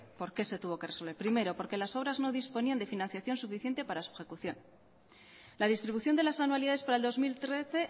por qué se tuvo que resolver primero porque las obras no disponían de financiación suficiente para su ejecución la distribución de las anualidades para el dos mil trece